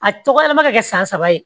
A tɔgɔ ye ma kɛ san saba ye